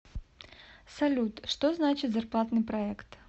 салют что значит зарплатный проект